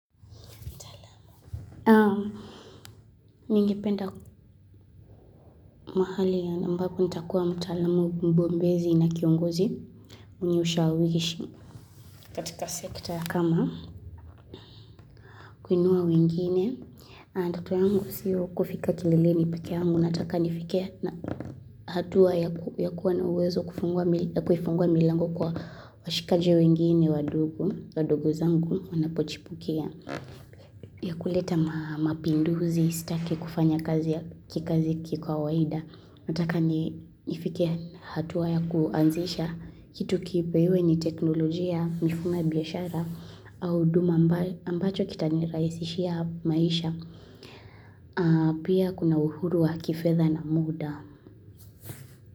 Ningependa mahali ambapo nitakuwa mtaalamu mbombezi na kiongozi mwenye ushawishi katika sekta kama. Kuinua wengine ndoto yangu siyo kufika kileleni peke yangu nataka nifike na hatua ya kuwa na uwezo kufungua milango kwa washikaji wengine wadogo zangu wanapochipukia. Ya kuleta mapinduzi, sitaki kufanya kazi kiukawaida, nataka nifike hatua ya kuanzisha kitu kipya hiwe ni teknolojia mifumo ya biashara au huduma ambayo itanirahisishia maisha. Pia kuna uhuru wa kifedha na muda.